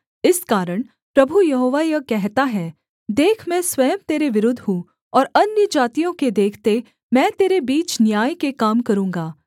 इस कारण प्रभु यहोवा यह कहता है देख मैं स्वयं तेरे विरुद्ध हूँ और अन्यजातियों के देखते मैं तेरे बीच न्याय के काम करूँगा